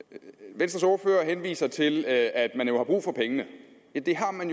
venstres ordfører henviser til at at man jo har brug for pengene og det har man